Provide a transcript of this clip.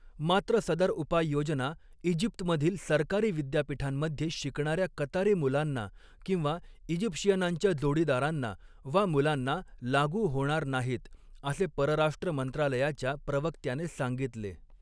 मात्र, सदर उपाययोजना ईजिप्तमधील सरकारी विद्यापीठांमध्ये शिकणाऱ्या कतारी मुलांना किंवा इजिप्शियनांच्या जोडीदारांना वा मुलांना लागू होणार नाहीत असे परराष्ट्र मंत्रालयाच्या प्रवक्त्याने सांगितले.